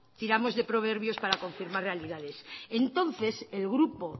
tiramos de proverbios para confirmar realidades entonces el grupo